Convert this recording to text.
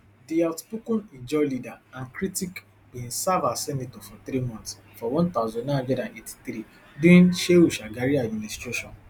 di outspoken ijaw leader and critic bin serve as senator for three months for one thousand, nine hundred and eighty-three during shehu shagari administration